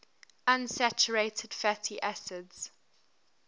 unsaturated fatty acids